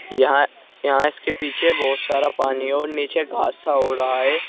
यहां यहां इसके पीछे बहुत सारा पानी और नीचे घास सा हो रहा है।